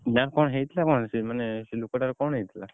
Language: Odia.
ନାଁ କଣ ହେଇଥିଲା କଣ ସିଏ ମାନେ ସେ ଲୋକଟା ର କଣ ହେଇଥିଲା?